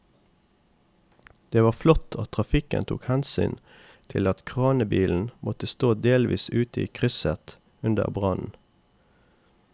Det var flott at trafikken tok hensyn til at kranbilen måtte stå delvis ute i krysset under brannen.